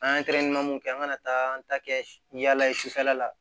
An ye mun kɛ an ga taa an ta kɛ yaala ye sufɛla la